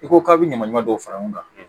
I ko k'a bɛ ɲamaɲaman dɔw fara ɲɔgɔn kan